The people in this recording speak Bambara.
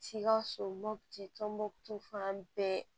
Sikaso mɔputi tɔnbɔmutu fan bɛɛ